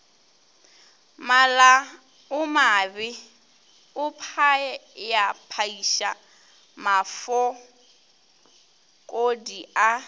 malaomabe o phayaphaiša mafokodi a